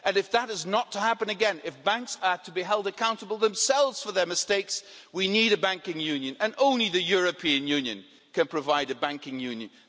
If that is not to happen again, if banks are to be held accountable themselves for their mistakes, we need a banking union and only the European Union can provide a banking union.